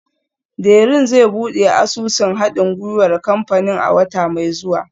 Dẹrín zai buɗe asusun haɗin gwiwar kamfanin a wata mai zuwa